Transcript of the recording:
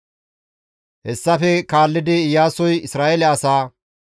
Hessafe kaallidi Iyaasoy Isra7eele asaa,